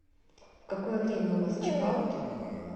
в какое время у вас чекаут